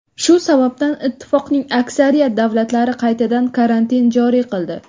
Shu sababdan ittifoqning aksariyat davlatlari qaytadan karantin joriy qildi.